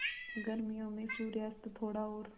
गर्मियों में सूर्यास्त थोड़ा और